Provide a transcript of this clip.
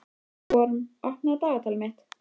Vorm, opnaðu dagatalið mitt.